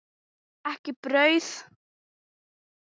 Ekki brauð.